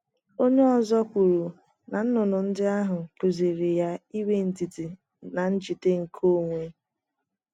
Onye ọzọ kwuru na nnụnụ ndị ahụ kụziiri ya inwe ndidi na njide nke onwe.